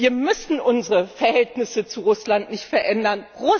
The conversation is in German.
Wir müssen unsere Verhältnisse zu Russland nicht verändern.